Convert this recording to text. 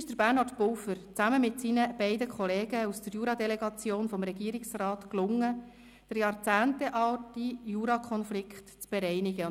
Es gelang Bernhard Pulver zusammen mit seinen beiden Kollegen aus der Juradelegation des Regierungsrats, den jahrzehntelangen Jurakonflikt zu bereinigen.